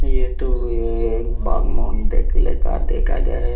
ये तो ये दिखाई दे रहा है।